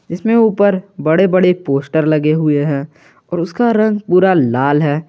इसमें ऊपर बड़े बड़े पोस्टर लगे हुए हैं और उसका रंग पूरा लाल है।